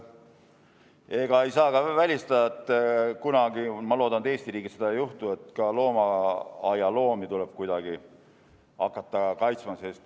Ega ei saa ka välistada, et kunagi – ma küll loodan, et Eesti riigis seda ei juhtu – tuleb ka loomaaialoomi kuidagi hakata kaitsma.